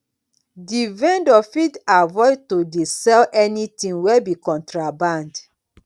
di vendor fit avoid to dey sell anything wey be contraband